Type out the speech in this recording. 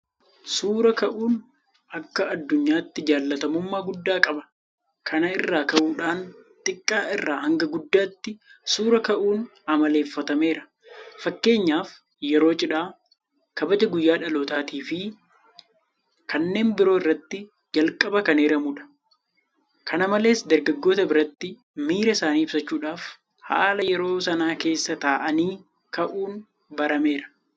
Suura ka'uun akka addunyaatti jaalatamummaa guddaa qaba. Kana irraa ka'uudhaan xiqqaa irraa hanga guddaatti suura ka'uun amaleeffatameera. Fakkeenyaaf yeroo cidhaa, Kabaja guyyaa dhalootaafi kanneen biroo irratti jalqaba kan eeramudha. Kana malees dargaggoota biratti miira isaanii ibsachuudhaaf haala yeroo sanaa keessa taa'anii ka'uun barameera.